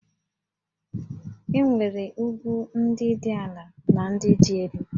E nwere ugwu ndị dị ala na ndị dị elu